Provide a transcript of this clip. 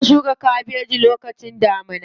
Ana shuka kabeji lokacin damuna.